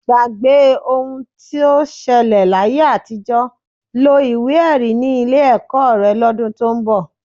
Gbàgbé ohun tó ṣẹlẹ̀ láyé àtijọ́, lo ìwé-ẹ̀rí ni ilé ọkọ rẹ lọ́dún tó ń bọ̀.